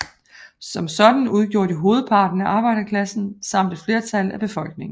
Som sådan udgjorde de hovedparten af arbejderklassen samt et flertal af befolkningen